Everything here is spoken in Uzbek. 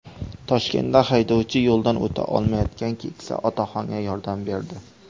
Toshkentda haydovchi yo‘ldan o‘ta olmayotgan keksa otaxonga yordam berdi.